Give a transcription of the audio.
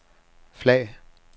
flag